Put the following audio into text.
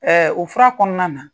u fura kɔnɔna na.